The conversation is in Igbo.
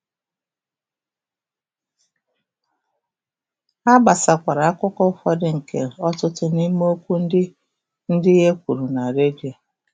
Ha gbasakwara akụkụ ụfọdụ nke ọtụtụ n’ime okwu ndị e ndị e kwuru na redio.